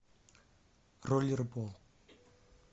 роллерболл